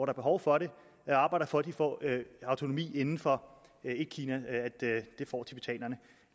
er behov for det arbejder for at de får autonomi inden for etkina